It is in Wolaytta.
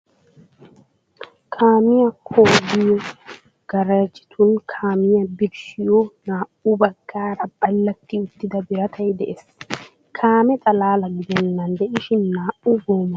Kaamiyaa kooliyo garaajjetun kaamiyaa birshshiyoo, naa"u baggaara ballatti uttida biratay de"ees. Kaamee xalaalaa gidennan de'ishin naa"u goomaawa motoriyaa birshshanawukka ha biratay hanees.